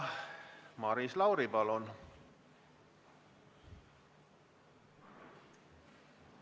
Maris Lauri, palun!